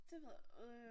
Det ved øh